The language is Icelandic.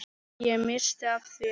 Ég missti af þér.